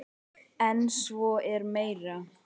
En svo er meira.